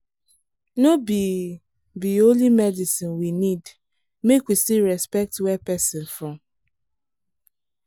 no be be only medicine we need — make we still respect where person from